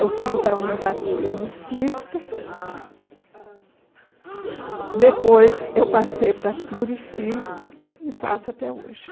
Eu fiz a homeopatia unicista, depois eu passei para a pluricista e faço até hoje.